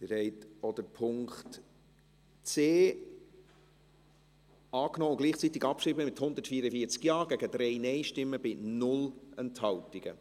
Sie haben auch Punkt c angenommen und gleichzeitig abgeschrieben, mit 144 Ja- gegen 3 Nein-Stimmen bei 0 Enthaltungen.